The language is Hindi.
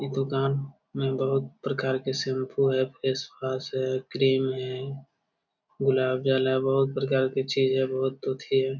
ये दुकान में बहुत प्रकार के शैम्पू है फेस वॉश है क्रीम है गुलाब जल है बहुत प्रकार के है बहुत चीज़ है एथी है।